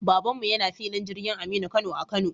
Baban mu yana filin jirgin Aminu Kano a Kano